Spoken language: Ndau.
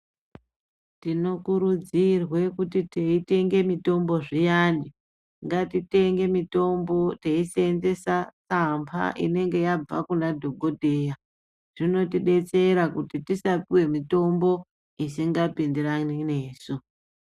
Tinokurudzirwe kuti teitenge mitombo zviyani ngatitenge mitombo teisenzesa amba inenge yabva kuna dhokodheya zvinotidetsera kuti tisapiwe mitombo isinga pindirani nesu .